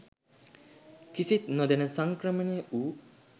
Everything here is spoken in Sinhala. කිසිත් නොදැන සංක්‍රමණය වූ